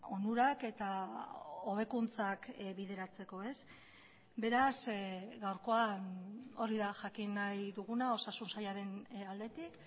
onurak eta hobekuntzak bideratzeko beraz gaurkoan hori da jakin nahi duguna osasun sailaren aldetik